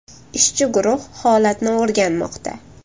Ishchi guruh holatni o‘rganmoqda.